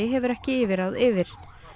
hefur ekki yfirráð yfir